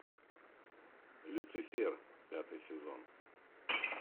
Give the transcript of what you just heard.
люцифер пятый сезон